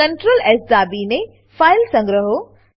Ctrl S દાબીને file સંગ્રહો